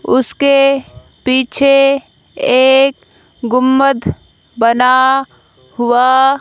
उसके पीछे एक गुंबद बना हुआ--